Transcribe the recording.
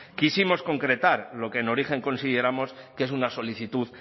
quisimos concretar lo que en origen consideramos que es una solicitud